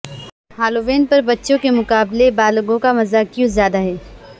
Halloween پر بچوں کے مقابلے میں بالغوں کا مزہ کیوں زیادہ ہے